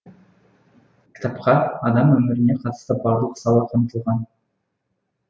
кітапқа адам өміріне қатысты барлық сала қамтылған